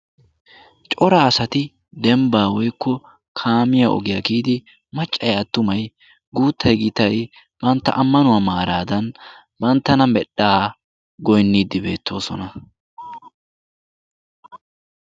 Cora asati dembba woykko kaamiya kiyidi maccay attumay guuttay gittay bantta ammanuwa maradan banttana medhdhaa giyogawu goynidi deosona.